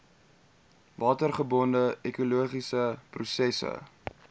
watergebonde ekologiese prosesse